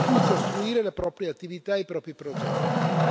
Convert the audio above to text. su cui costruire la propria attività e i propri progetti.